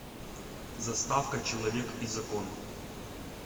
заставка человек и закон